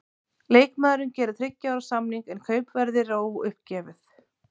Leikmaðurinn gerir þriggja ára samning, en kaupverðið er óuppgefið.